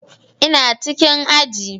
Ina cikin aji